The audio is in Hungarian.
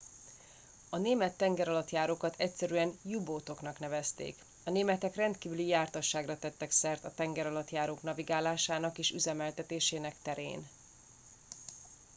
a német tengeralattjárókat egyszerűen u boat oknak nevezték a németek rendkívüli jártasságra tettek szert a tengeralattjárók navigálásának és üzemeltetésének terén